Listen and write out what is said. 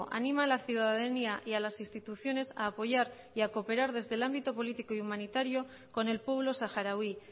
anima a la ciudadanía y a las instituciones a apoyar y a cooperar desde el ámbito político y humanitario con el pueblo saharaui